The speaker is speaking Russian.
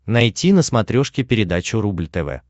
найти на смотрешке передачу рубль тв